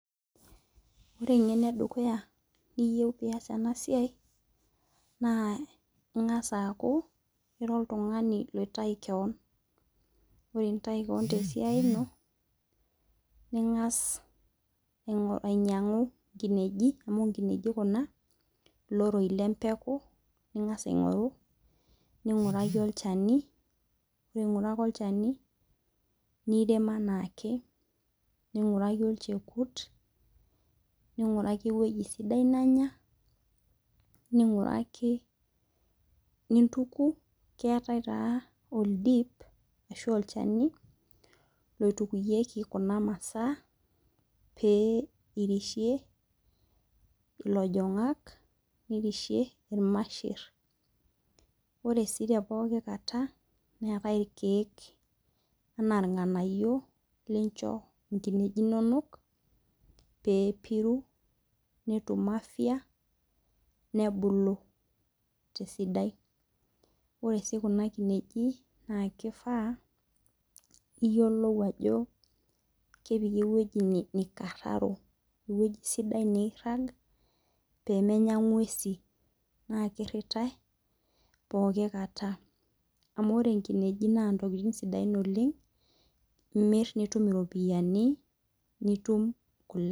Ore eng'eno edukuya niyou piyiolou ena siai naa ing'as akuu oltung'ani oitayu keon ore pintayu keon te siai ino ning'as ainyang'u inkinejik amu inkinejik kuna iloroi le mpekuu ning'as aingoru ning'uraki olchani ore ing'uraka olchani nirem aanake ning'uraki olchekut ning'uraki eweji sidai nanya ning'uraki nintuku ketae taa oldip ashu olchani loitukuyeku kuna maasa peyie irishie ilojung'ak niriahie irmasher. Ore sii te pookin kataa neetae irkeek ana irng'anayio lincho inkinejik inonokpee epiru netum afya nebulu tesidai. ore sii kinejik naa keifaa pee iyiolou ajo kepiki eweji neikararo eweji sidai nairag pee menya ing'uesin. Naa kirirai pooki kataa. Amu ore inkenejik naa intokitin sidain oleng' imir nitum iropiani nitum kule.